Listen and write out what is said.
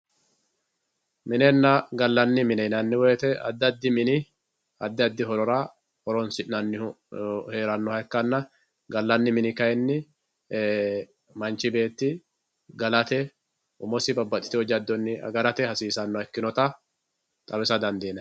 minenna gallanni mine yinanni woyiite addi addi mini addi addi horora horonsi'nannihu heerannoha ikkanna gallanni mini kayiinni manchi beetti galate umosi babbaxxitino jaddonni agarate hasiisannoha ikkinota xawisa dandiinanni